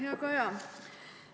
Hea Kaja!